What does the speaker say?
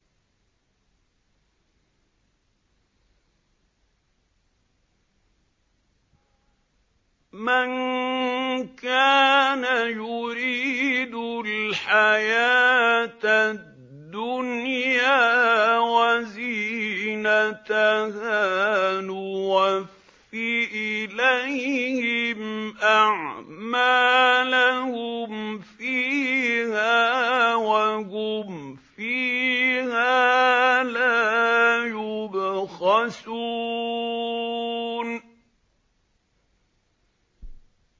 مَن كَانَ يُرِيدُ الْحَيَاةَ الدُّنْيَا وَزِينَتَهَا نُوَفِّ إِلَيْهِمْ أَعْمَالَهُمْ فِيهَا وَهُمْ فِيهَا لَا يُبْخَسُونَ